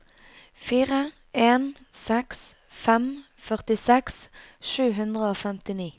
fire en seks fem førtiseks sju hundre og femtini